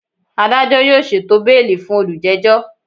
Adajọ yoo ṣeto beeli fun olujejo!